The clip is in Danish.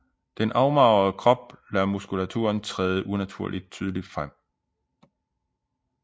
Den afmagrede krop lader muskulaturen træde unaturligt tydeligt frem